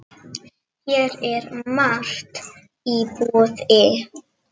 Hér er margt í boði.